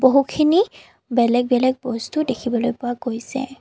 বহুখিনি বেলেগ বেলেগ বস্তু দেখিবলৈ পোৱা গৈছে।